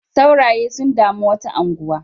Sauraye sun dami wata unguwa.